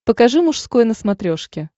покажи мужской на смотрешке